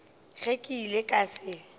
ge ke ile ka se